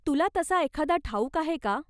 तुला तसा एखादा ठाऊक आहे का?